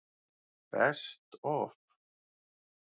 Best Of?